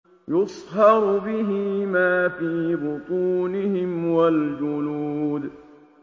يُصْهَرُ بِهِ مَا فِي بُطُونِهِمْ وَالْجُلُودُ